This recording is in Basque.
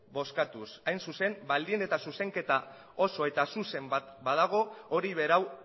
bozkatuz hain zuzen baldin eta zuzenketa oso eta zuzen badago hori berau